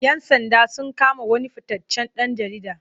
Yan sanda sun kama wani fitaccen ɗan jarida.